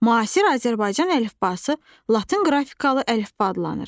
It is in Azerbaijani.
Müasir Azərbaycan əlifbası Latın qrafikalı əlifba adlanır.